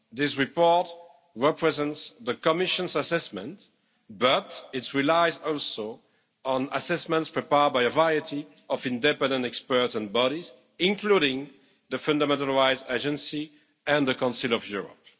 This report represents the Commission's assessment, but it relies also on assessments prepared by a variety of independent experts and bodies, including the Fundamental Rights Agency and the Council of Europe.